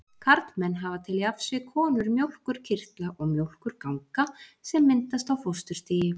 Karlmenn hafa til jafns við konur mjólkurkirtla og mjólkurganga sem myndast á fósturstigi.